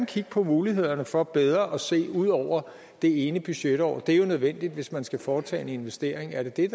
kigge på mulighederne for bedre at se ud over det ene budgetår det er jo nødvendigt hvis man skal foretage en investering er det